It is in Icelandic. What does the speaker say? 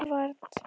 Edvard